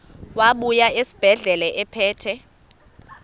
wabuya esibedlela ephethe